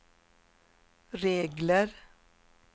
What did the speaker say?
regler